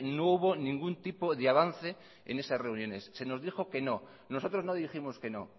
no hubo ningún tipo de avance en esas reuniones se nos dijo que no nosotros no dijimos que no